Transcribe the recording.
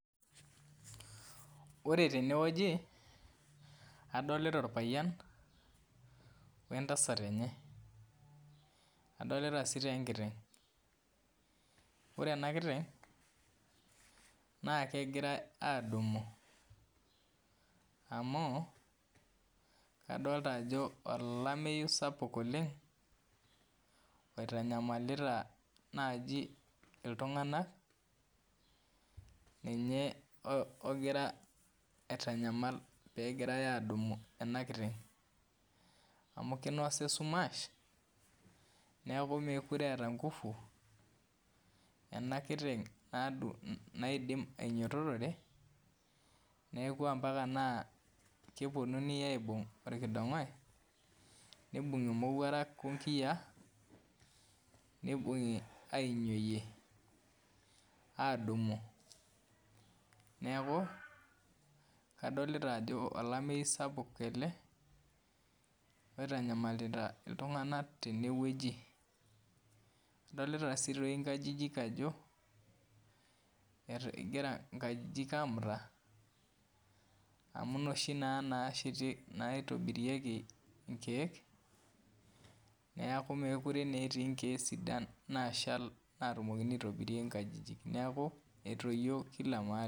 Ore tenewueji adolita orpayian ontasat enye adolita sii tee enkiteng' ore ena kiteng' naa kegirai aadumu amu adolta ajo olameyu sapuk oleng' oitanyamalita naaji iltung'anak ninye ogira aitanyamal pee egirai aadumu ena kiteng' amu kinosa esumash neeku meekure eeta nguvu naidim ainyiototore neeku ompaka naa keponunui aibung' orkidong'oi nibung'i imowuarak onkiyiaa nibung'i ainyioyie aadumu neeku adolita ajo olameyu sapuk ele oitanyamalita iltung'anak teneweuji adolita toi sii nkajijik ajo egira nkajijik aamuta amu inoshi naa naaitobirieki nkeek neeku meekure naa etii nkeek sidan naashal naitobirieki nkajijik neeku etoyio kila mahali.